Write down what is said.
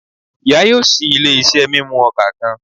Iya yoo ṣii ile-iṣẹ mimu oka kan